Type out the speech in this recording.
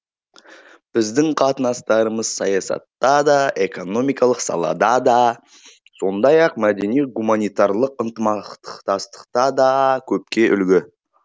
біздің қатынастарымыз саясатта да экономикалық салада да сондай ақ мәдени гуманитарлық ынтымақтастықта да көпке үлгі